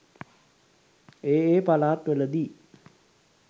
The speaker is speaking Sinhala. ඒ ඒ පළාත්වල දී